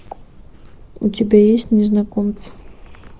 у тебя есть незнакомцы